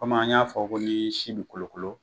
an y'a fɔ ko n'i sin be kolokolo